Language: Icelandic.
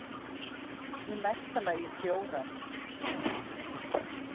Í mesta lagi fjórar.